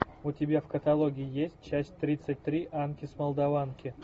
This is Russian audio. у тебя в каталоге есть часть тридцать три анки с молдаванки